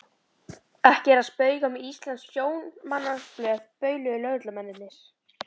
Ekki er að spauga með íslenskt sjómannsblóð bauluðu lögreglumennirnir.